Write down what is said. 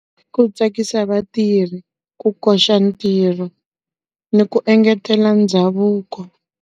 Ku tsakisa vatirhi, ku koxa ntirho, ni ku engetela ndhavuko.